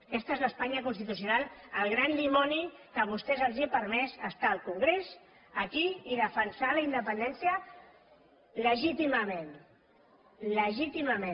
aquesta és l’espanya constitucional el gran dimoni que a vostès els ha permès estar al congrés aquí i defensar la independència legítimament legítimament